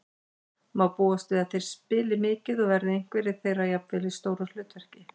Má búast við að þeir spili mikið og verða einhverjir þeirra jafnvel í stóru hlutverki?